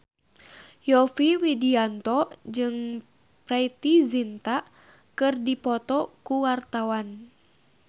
Yovie Widianto jeung Preity Zinta keur dipoto ku wartawan